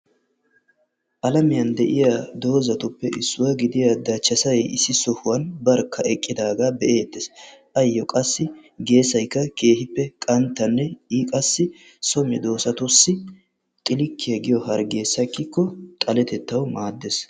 Alamiyan de'iya doozatuppe issuwa gidiya dachchassay issi sohuwan barkka eqqidaaga be'eettees. Qassi geesaykka keehippe qanttanne iini qassi so medoossatussi xilikkiya giyo hargee sakkikko xaletettawu maaddees.